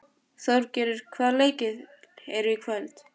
Þórbergur, hvaða leikir eru í kvöld?